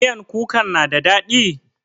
Miyan kukan na da daɗi?